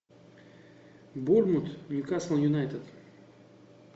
борнмут ньюкасл юнайтед